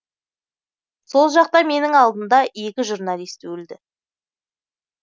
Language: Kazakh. сол жақта менің алдымда екі журналист өлді